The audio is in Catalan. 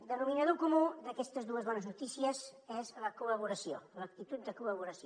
denominador comú d’aquestes dues bones notícies és la col·laboració l’actitud de col·laboració